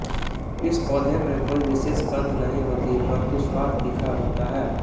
इस पौधे में कोई विशेष गंध नहीं होती परन्तु स्वाद तीखा होता है